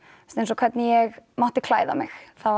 hvernig ég mátti klæða mig